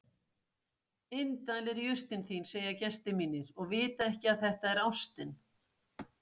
Indæl er jurtin þín segja gestir mínir og vita ekki að þetta er ástin.